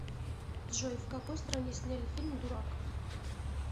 джой в какои стране сняли фильм дурак